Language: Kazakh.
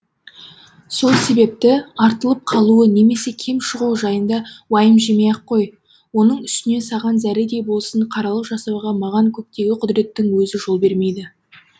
сол себепті артылып қалуы немесе кем шығуы жайында уайым жемей ақ қой оның үстіне саған зәредей болсын қаралық жасауға маған көктегі құдіреттің өзі де жол бермейді